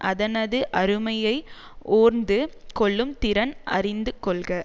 அதனது அருமையை ஓர்ந்து கொள்ளும் திறன் அறிந்து கொள்க